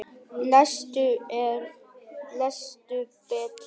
Lestu betur!